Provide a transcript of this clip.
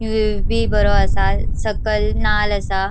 व्हिएव बी बरो असा सकल नाल असा.